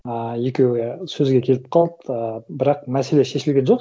ыыы екеуі я сөзге келіп қалды і бірақ мәселе шешілген жоқ